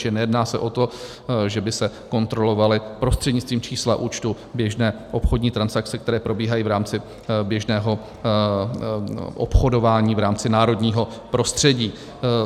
Čili nejedná se o to, že by se kontrolovaly prostřednictvím čísla účtu běžné obchodní transakce, které probíhají v rámci běžného obchodování v rámci národního prostředí.